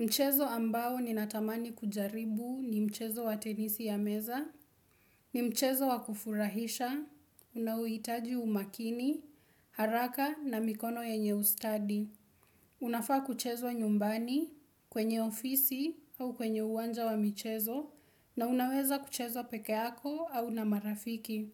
Mchezo ambao ninatamani kujaribu ni mchezo wa tenisi ya meza, ni mchezo wa kufurahisha, unauitaji umakini, haraka na mikono yenye ustadi. Unafaa kuchezo nyumbani, kwenye ofisi au kwenye uwanja wa mchezo, na unaweza kuchezo pekeako au na marafiki.